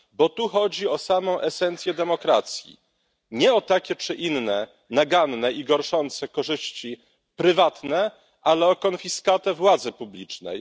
Bo tu chodzi o samą esencję demokracji, nie o takie czy inne naganne i gorszące korzyści prywatne, ale o konfiskatę władzy publicznej.